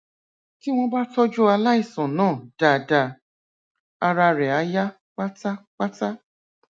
tí wọn bá tọjú aláìsàn náà dáadáa ara rẹ á yá pátápátá